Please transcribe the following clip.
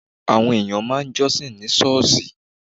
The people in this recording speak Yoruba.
Àwọn èèyàn máa ń jọ́sìn ní ṣọ́ọ̀ṣì.